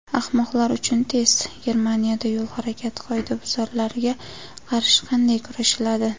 "Ahmoqlar uchun test": Germaniyada yo‘l harakati qoidabuzarlariga qarshi qanday kurashiladi?.